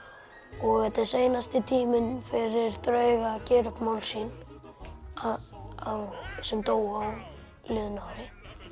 og þetta er seinasti tíminn fyrir drauga að gera upp mál sín sem dóu á liðnu ári